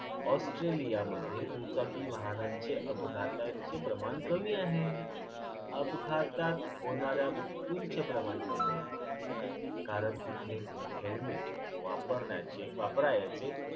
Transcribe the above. ऑस्ट्रेलियामध्ये दुचाकी वाहनांचे अपघाताचे प्रमाण कमी आहे. अपघातात होणाऱ्या मृत्यूचे प्रमाण कमी आहे कारण तिथे helmet वापरण्याचे वापरायचे